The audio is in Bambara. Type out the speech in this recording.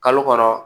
Kalo kɔnɔ